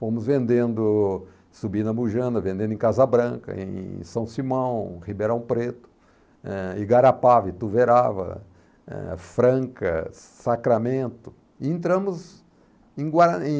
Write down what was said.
Fomos vendendo, subindo a Mujana, vendendo em Casa Branca, em São Simão, Ribeirão Preto, eh, Igarapava, Ituverava, eh, Franca, Sacramento, e entramos em gua em